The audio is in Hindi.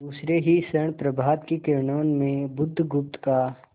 दूसरे ही क्षण प्रभात की किरणों में बुधगुप्त का